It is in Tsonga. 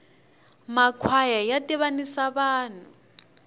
ma kwhaya ya tivanisa vanhu